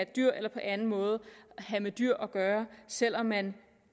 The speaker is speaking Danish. dyr eller på anden måde have med dyr at gøre selv om man